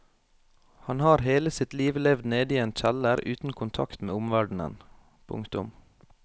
Han har hele sitt liv levd nede i en kjeller uten kontakt med omverdenen. punktum